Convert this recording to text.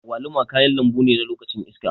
Agwaluma kayan lambune na lokacin iska.